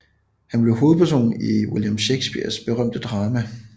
Han blev hovedperson i William Shakespeares berømte drama